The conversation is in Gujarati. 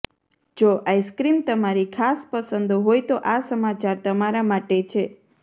જો આઈસક્રીમ તમારી ખાસ પસંદ હોય તો આ સમાચાર તમારા માટે છે